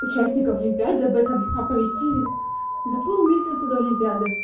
участников олимпиады об этом оповестили за полмесяца до олимпиады